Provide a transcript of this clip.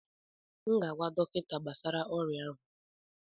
M ga-agwa dọkịta gbasara oria ahụ